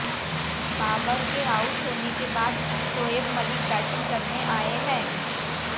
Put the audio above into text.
बाबर के आउट होने के बाद शोएब मलिक बैटिंग करने आए हैं